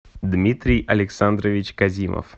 дмитрий александрович казимов